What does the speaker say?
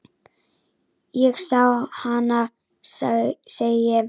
Ég sá hana, segi ég.